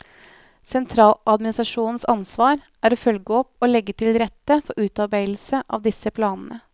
Sentraladministrasjonens ansvar er å følge opp og legge til rette for utarbeidelse av disse planene.